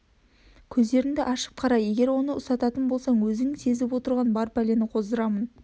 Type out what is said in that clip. көздерінді ашып қара егер оны ұстататын болсаң өзің сезіп отырған бар пәлені қоздырамын